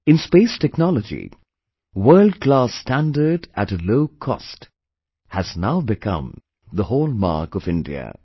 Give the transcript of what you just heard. In space technology, World class standard at a low cost, has now become the hallmark of India